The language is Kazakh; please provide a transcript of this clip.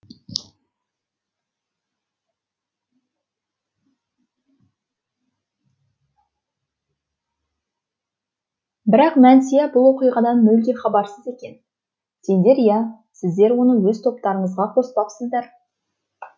бірақ мәнсия бұл оқиғадан мүлде хабарсыз екен сендер иә сіздер оны өз топтарыңызға қоспапсыздар